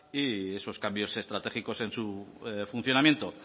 y esos cambios estratégicos en su funcionamiento